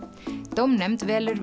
dómnefnd velur